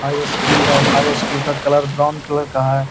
High school है | high school का colour brown colour का है।